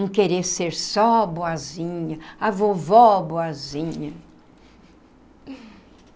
Não querer ser só boazinha, a vovó boazinha.